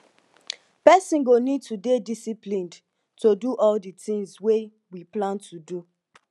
person go need to dey disciplined to do all di tins wey we plan to do